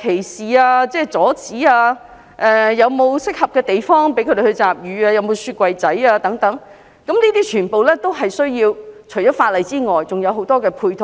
歧視、阻止，例如有否適合的地方讓她們集乳、有否提供冰箱等，這些除了需要法例外，還需要很多配套。